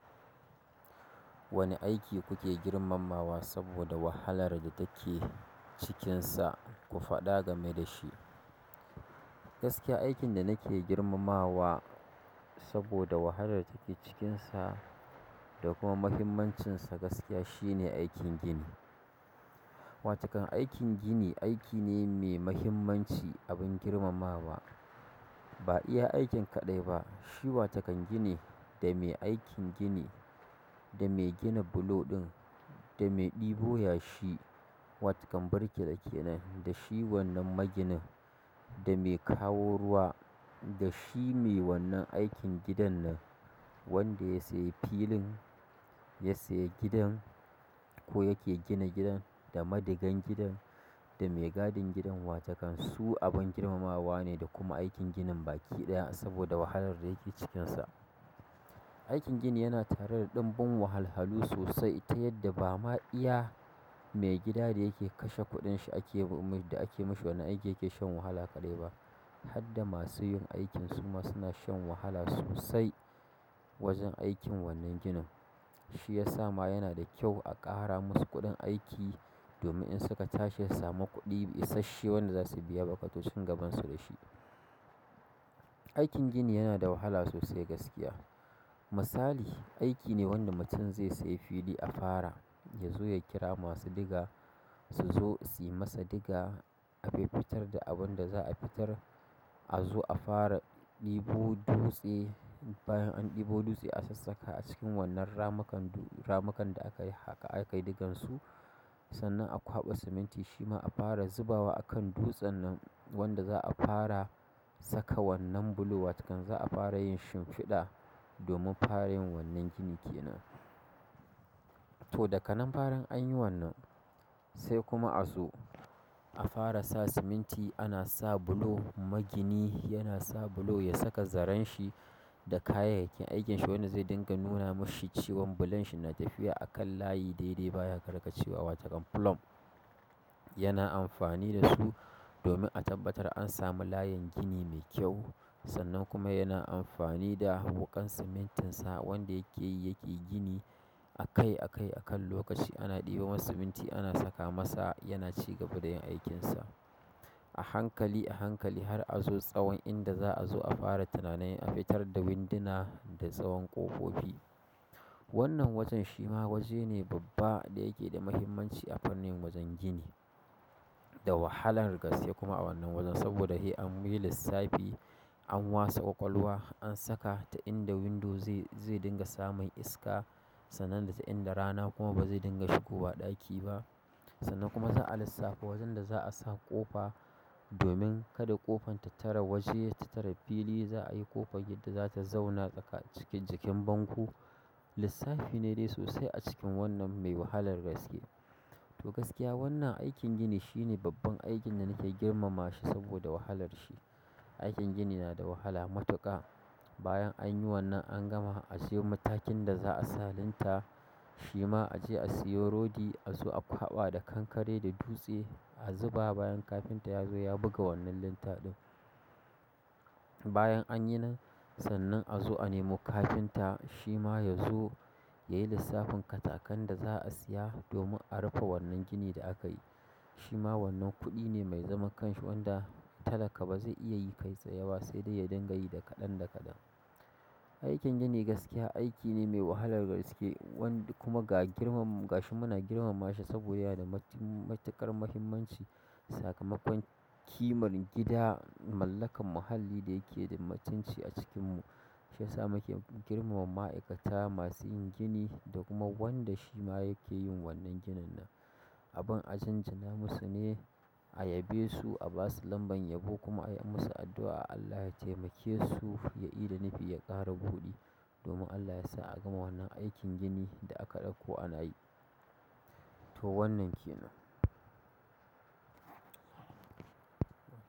Wane aiki kuke girmamawa saboda wahalar da take cikinsa, ku faɗa game da shi. Gaskiya aikin da nake girmamawa saboda wahalar da take cikinsa da kuma muhimmancinsa gaskiya shine aikin gini. Wa takan aikin gini aiki ne mai muhimmanci, abin girmamawa. Ba iya aikin kaɗai ba, shi wa takan gini da mai aikin gini da mai gina bulo ɗin da mai ɗebo yashi, wa takan birki da ke nan da shi wannan maginin da mai kawo ruwa da shi mai wannan aikin gidan nan wanda ya sayi filin, ya sayi gidan ko yake gina gidan da maginan gidan da mai gadin gidan wa takan su abin girmamawa ne da kuma aikin ginin baki ɗaya saboda wahalar da yake cikinsa. Aikin gini yana tare da ɗanbun wahalhalu sosai ta yadda ba ma iya mai gida da yake kashe kuɗin shi ake ba da ake mashi wani aiki yake shan wahala kaɗai ba. Har da masu yin aikin su ma suna shan wahala sosai wajen aikin wannan ginin. Shi ya sa ma yana da kyau a ƙara musu kuɗin aiki domin in suka tashi sama kuɗi isashe wanda za su biya buƙatocin gabansu da shi. Aikin gini yana da wahala sosai gaskiya. Misali, aiki ne wanda mutum zai sayi fili a fara ya zo ya kira masu diga su zo suyi masa diga, a fiffitar da abun da za a fitar, a zo a fara ɗebo dutse, bayan an ɗebo dutse a sassaka a cikin wannan ramukan ramukan da aka yi haƙa aka yi digansu. Sannan a kwaɓa siminti shi ma a fara zubawa a kan dutsen nan wanda za a fara saka wannan bulo wa takan za a fara yin shimfiɗa domin fare yin wannan gini ke nan. To, daga nan farin an yi wannan sai kuma a zo a fara sa siminti ana sa bulo. Magini yana sa bulo ya saka zaren shi da kayayyakin aikinshi wanda zai dinga nuna mashi cewan bulon shi na tafiya a kan layi daidai baya karkatcewa wa takan plot. Yana amfani da su domin a tabbatar an samu layin gini mai kyau. Sannan kuma yana amfani da wuƙan simintin sa wanda yake yi yake gini a kai a kai a kan lokaci. Ana ɗiba masa siminti ana saka masa yana ci gaba da yin aikinsa. A hankali, a hankali har a zo tsawon inda za a zo a fara tunanin a fitar da winduna da tsawon ƙofofi. Wannan wajen shi ma waje ne babba da yake da muhimmanci a fannin wajen gini. Da wahalar gaske kuma a wannan wajen saboda se an yi lissafi, an wasa ƙwaƙwalwa, an saka ta inda window zai, zai dinga samun iska sannan da ta inda rana kuma ba zai dinga shigowa ɗaki ba. Sannan kuma za a lissafi wajen da za a sa ƙofa domin kada ƙofan ta tare waje, ta tare fili, za a yi ƙofar inda za ta zauna tsakan cikin jikin bango. Lissafi ne dai sosai a cikin wannan mai wahalar gaske. To gaskiya wannan aikin gini shine babban aikin da nake girmamawa shi saboda wahalar shi. Aikin gini yana da wahala matuƙa. Bayan an yi wannan an gama azo matakin da za a sa linta shima aje a siyo rodi azo a kwaɓa da kankare da dutse a zuba bayan kafin ta yazo ya buga wannan linta ɗin bayan anyi nan sannan azo a nemi kafinta shima yazo yayi lissafin katakan da za'a siya domin a rufe wannan gini da akayi shima wannan kuɗine me zaman kanshi wanda talaka baze iya yi kai tsaye ba sedai ya dinga yi da kaɗan aikin gini gaskiya aiki ne me wahalar gaske kuma gashi muna girmamashi saboda yana da matuƙar muhimmanci sakamakon kimar gida mallakan muhalli da yake da mutunci a cikin mu. Shi ya sa muke girmama ma'aikata masu yin gini da kuma wanda shi ma yake yin wannan ginin nan. Abin ajinjina musu ne, a yabe su, a ba su lamban yabo kuma a yi musu addu'a Allah ya taimake su, ya ida nufi, ya ƙara buɗi domin Allah ya sa a gama wannan aikin ginin da aka ɗauko ana yi. To wannan ke nan.